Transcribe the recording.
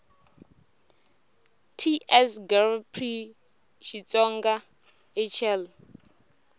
ts gov pri xitsonga hl